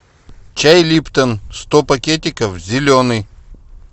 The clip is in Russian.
чай липтон сто пакетиков зеленый